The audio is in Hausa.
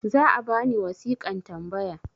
za a bani wasiƙan tambaya